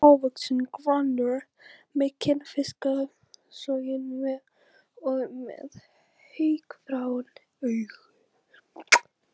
Hann er hávaxinn, grannur, kinnfiskasoginn og með haukfrán augu.